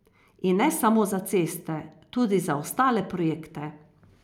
In ne samo za ceste, tudi za ostale projekte.